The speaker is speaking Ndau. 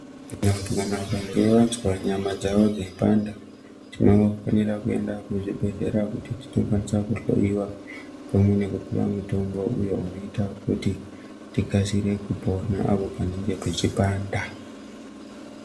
Vantu vakange vazwa nyama dzavo dzei panda tinofanirwa kuenda kuzvibhedhlera kuti tinokwanisa kuhloyiwa pamwe nekupuwa mutombo uyo unoita kuti tikasire kupona apo panenge pechi panda.